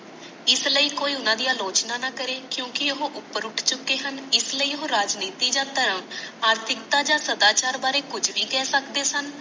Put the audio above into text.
ਇਸ ਲਈ ਕੋਈ ਓਹਨਾ ਦੀ ਆਲੋਚਨਾ ਨਾ ਕਰੇ ਕਿਉਂਕਿ ਉਹ ਉਪਰ ਉੱਠ ਚੁਕੇ ਹਨ ਇਸ ਲਈ ਉਹ ਰਾਜਨੀਤੀ ਜਾ ਥਰਾਮ ਆਰਥਿਕਤਾ ਜਾ ਸਦਾ ਚਾਰ ਬਾਰੇ ਕੁਛ ਬੀ ਖਾ ਸਕਦੇ ਸਨ